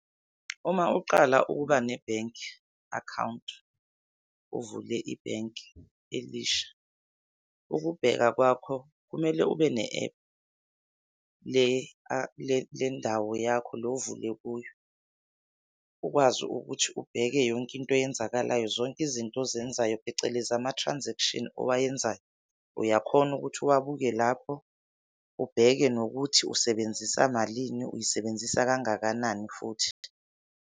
Uma uqala ukuba nebhenki akhawunti, uvule ibhenki elisha, ukubheka kwakho kumele ube ne-app. Kule kule kule ndawo yakho le ovule kuyo. Ukwazi ukuthi ubheke yonke into eyenzakalayo, zonke izinto ozenzayo, phecelezi ama-transaction owayenzayo uyakhona ukuthi uwabuke lapho. Ubheke nokuthi usebenzisa malini, uyisebenzisa kangakanani futhi.